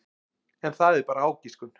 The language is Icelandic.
En það er bara ágiskun.